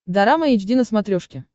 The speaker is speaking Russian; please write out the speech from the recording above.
дорама эйч ди на смотрешке